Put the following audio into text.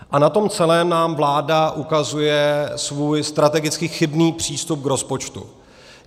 A na tom celém nám vláda ukazuje svůj strategicky chybný přístup k rozpočtu.